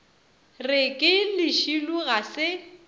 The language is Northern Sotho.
re ke lešilo ga se